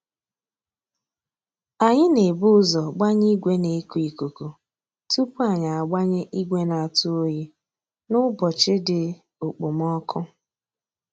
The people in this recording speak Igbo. Anyị na ebu ụzọ gbanye ìgwè na eku ikuku tupu anyị agbanye ìgwè na atụ oyi n'ụbọchị dị okpomoko